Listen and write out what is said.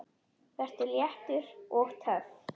Vertu léttur. og töff!